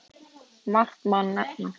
Margt má nefna.